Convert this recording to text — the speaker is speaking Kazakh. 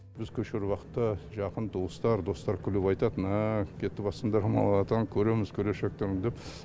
біз көшіру уақытта жақын туыстар достар күліп айтатын ааа кетіватсындар ма болатын көреміз келешектерін деп